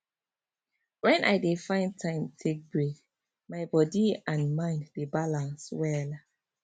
when i dey find time take break my body and mind dey balance well